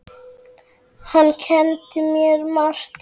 Hann kenndi mér margt.